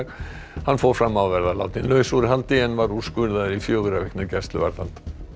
hann fór fram á að vera látinn laus úr haldi en var úrskurðaður í fjögurra vikna gæsluvarðhald